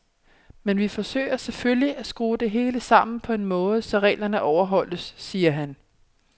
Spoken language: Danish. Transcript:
Men vi forsøger selvfølgelig, at skrue det hele sammen på en måde, så reglerne overholdes, siger han.